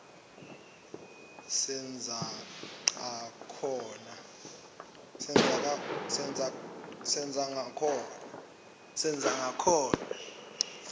senzangakhona